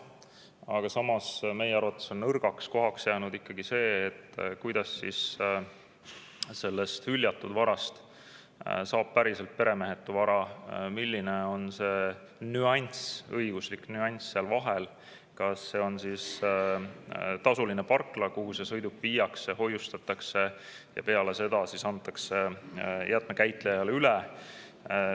Aga samas on meie arvates nõrgaks kohaks jäänud see, kuidas saab hüljatud varast päriselt peremehetu vara, milline on see õiguslik nüanss seal vahel, kas see on tasuline parkla, kuhu sõiduk viiakse, kus seda hoiustatakse ja peale seda antakse jäätmekäitlejale üle.